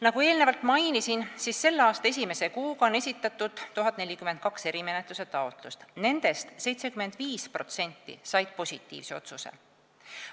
Nagu eelnevalt mainisin, selle aasta esimese kuue kuuga esitati 1042 erimenetluse taotlust, nendest 75% said positiivse otsuse.